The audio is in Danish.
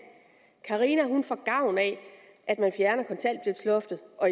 carina får gavn af at man fjerner kontanthjælpsloftet og